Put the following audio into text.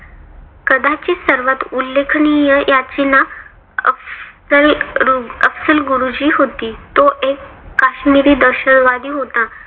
कदाचित सर्वात उल्लेखनीय याचिका अफसल रूग अफझल गुरुची होती. तो एक काश्मिरी दहशतवादी होता.